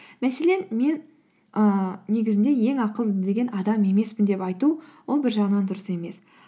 мәселен мен ыыы негізінде ең ақылды деген адам емеспін деп айту ол бір жағынан дұрыс емес